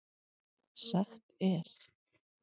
Sagt er